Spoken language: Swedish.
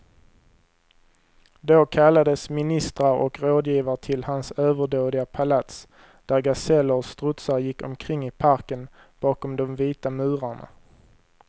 Då kallades ministrar och rådgivare till hans överdådiga palats, där gaseller och strutsar gick omkring i parken bakom de vita murarna.